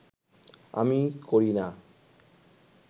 আমি করি না